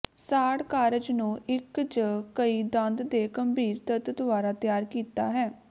ਸਾੜ ਕਾਰਜ ਨੂੰ ਇੱਕ ਜ ਕਈ ਦੰਦ ਦੇ ਗੰਭੀਰ ਦਰਦ ਦੁਆਰਾ ਤਿਆਰ ਕੀਤਾ ਹੈ